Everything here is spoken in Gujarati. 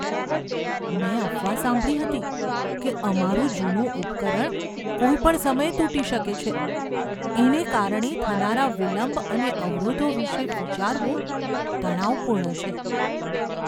મેં અફવા સાંભળી હતી કે અમારું જૂનું ઉપકરણ કોઈપણ સમયે તૂટી શકે છે. એને કારણે થનારા વિલંબ અને અવરોધો વિશે વિચારવું તણાવપૂર્ણ છે.